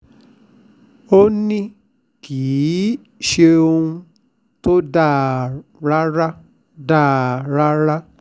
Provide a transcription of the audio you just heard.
ó ní kì í ṣohun tó dáa rárá dáa rárá